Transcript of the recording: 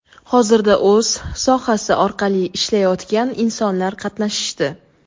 hozirda o‘z sohasi orqali ishlayotgan insonlar qatnashishdi.